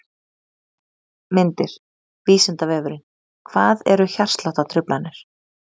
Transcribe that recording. Myndir: Vísindavefurinn: Hvað eru hjartsláttartruflanir?.